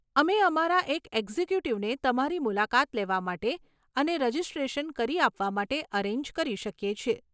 અમે અમારા એક એક્ઝિક્યુટિવને તમારી મુલાકાત લેવા માટે અને રજીસ્ટ્રેશન કરી આપવા માટે અરેન્જ કરી શકી છીએ.